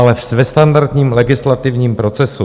Ale ve standardním legislativním procesu.